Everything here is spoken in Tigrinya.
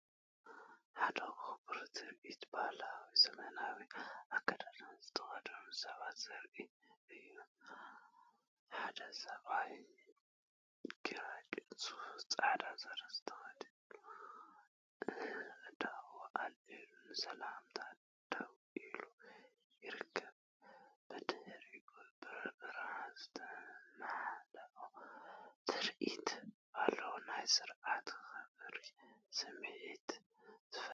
ሓደ ክቡር ትርኢት ባህላውን ዘመናውን ኣከዳድና ዝተኸድኑ ሰባት ዘርኢ እዩ። ሓደ ሰብኣይ ግራጭ ሱፍ ጻዕዳ ስረ ተኸዲኑ፡ ኣእዳዉ ኣልዒሉ ንሰላምታ ደው ኢሉ ይርከብ። ብድሕሪት ብብርሃን ዝተመልአ ትርኢት ኣሎ፣ ናይ ስርዓትን ክብርን ስምዒት ዝፈጥር።